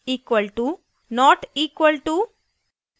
* equal to equal to not equal to not equal to